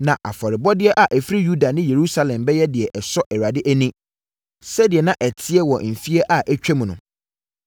na afɔrebɔdeɛ a ɛfiri Yuda ne Yerusalem bɛyɛ deɛ ɛsɔ Awurade ani sɛdeɛ na ɛteɛ wɔ mfeɛ a atwam no.